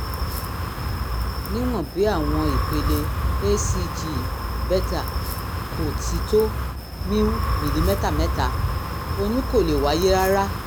níwọ̀n bí àwọn ìpele hcg beta kò ti tó miu/ml mẹ́ta oyún kò lè wáyé rárá